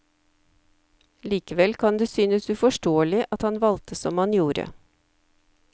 Likevel kan det synes uforståelig at han valgte som han gjorde.